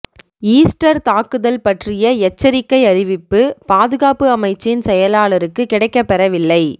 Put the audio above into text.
Easter தாக்குதல் பற்றிய எச்சரிக்கை அறிவிப்பு பாதுகாப்பு அமைச்சின் செயலாளருக்கு கிடைக்கப்பெறவில்லை